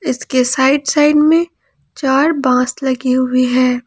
उसके side side में चार बांस लगी हुई हैं।